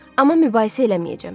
Amma mübahisə eləməyəcəm.